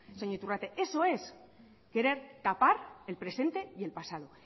señor iturrate eso es querer tapar el presente y el pasado